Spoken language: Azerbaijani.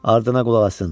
Ardına qulaq asın!